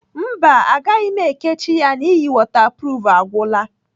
Mba agaghị m ekechi ya n'ihi wọtapruf agwụla.